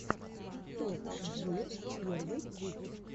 топ джир первый выпуск